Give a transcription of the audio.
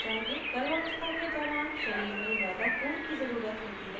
गर्भावस्था के दौरान शरीर में ज़्यादा खून की ज़रुरत होती है